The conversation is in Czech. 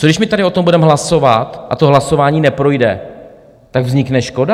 Co když my tady o tom budeme hlasovat a to hlasování neprojde, tak vznikne škoda?